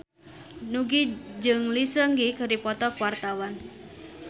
Nugie jeung Lee Seung Gi keur dipoto ku wartawan